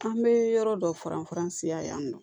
An bɛ yɔrɔ dɔ faranfasiya yan nɔ